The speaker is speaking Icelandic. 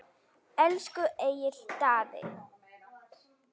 Elsku Egill Daði!